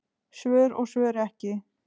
Svör og svör ekki.